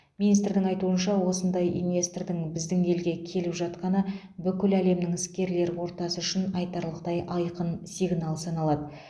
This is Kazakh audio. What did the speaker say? министрдің айтуынша осындай инвестордың біздің елге келіп жатқаны бүкіл әлемнің іскерлер ортасы үшін айтарлықтай айқын сигнал саналады